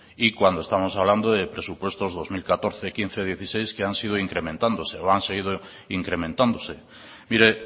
y cuando estamos hablando de presupuestos del año dos mil catorce dos mil quince dos mil dieciséis que han ido incrementándose o han seguido incrementándose mire